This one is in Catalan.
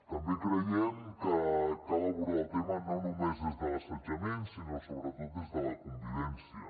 també creiem que cal abordar el tema no només des de l’assetjament sinó sobretot des de la convivència